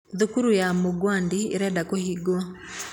Thukuru ya Mugwandi ĩrenda kũhingwo.